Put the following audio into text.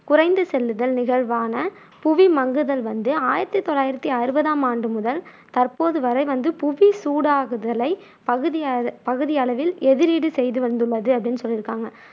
குறைந்துச் செல்லுதல் நிகழ்வான புவி மங்குதல் வந்து ஆயிரத்தி தொள்ளாயிரத்தி அறுவதாம் ஆண்டு முதல் தற்போது வரை வந்து புவி சூடாகுதலை பகுதிய பகுதியளவில் எதிரீடு செய்துவந்துள்ளது அப்படின்னு சொல்லிருக்காங்க.